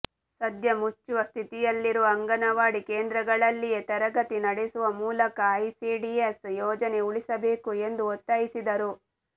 ಸದ್ಯ ಮುಚ್ಚುವ ಸ್ಥಿತಿಯಲ್ಲಿರುವ ಅಂಗನವಾಡಿ ಕೇಂದ್ರಗಳಲ್ಲಿಯೇ ತರಗತಿ ನಡೆಸುವ ಮೂಲಕ ಐಸಿಡಿಎಸ್ ಯೋಜನೆ ಉಳಿಸಬೇಕು ಎಂದು ಒತ್ತಾಯಿಸಿದರು